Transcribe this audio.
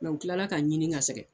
u tilala ka n ɲini ka sɛgɛn